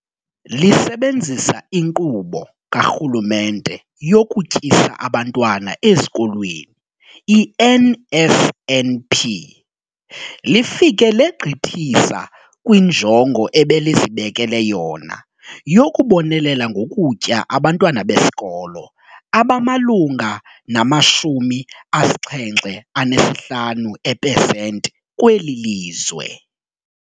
Lisebenzisa iNkqubo kaRhulumente yokuTyisa Abantwana Ezikolweni, i-NSNP, lifike legqithisa kwinjongo ebelizibekele yona yokubonelela ngokutya abantwana besikolo abamalunga nama-75 epesenti kweli lizwe.